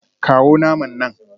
Kawo naman nan